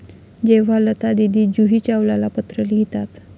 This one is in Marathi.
जेव्हा लतादीदी जुही चावलाला पत्र लिहितात!